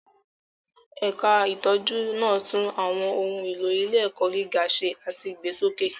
Ẹ̀ka ìtọ́jú náà tún àwọn ohun èlò ilé-ẹ̀kọ́ gíga ṣe àti ìgbésókè.